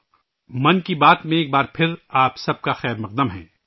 ' من کی بات ' میں پھر ایک بار آپ سب کا خیر مقدم ہے